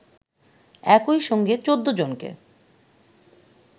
একই সঙ্গে ১৪ জনকে